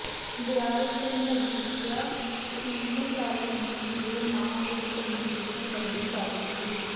ਦਿਆਲ Singh Majithia evening college Delhi ਦੇ ਨਾਂ ਵਿਚ ਤਬਦੀਲੀ ਸਬੰਧੀ ਕਾਲਜ ਦੀ